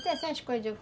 coisas eu